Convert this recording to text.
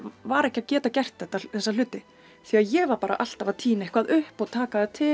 var ekki að geta gert þessa hluti því að ég var bara alltaf að tína eitthvað upp og taka til